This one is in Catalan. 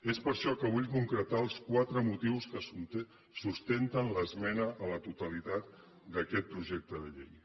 és per això que vull concretar els quatre motius que sustenten l’esmena a la totalitat d’aquest projecte de llei